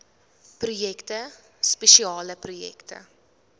projekte spesiale projekte